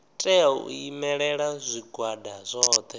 tea u imelela zwigwada zwothe